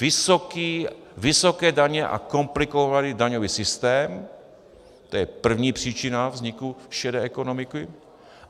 Vysoké daně a komplikovaný daňový systém, to je první příčina vzniku šedé ekonomiky.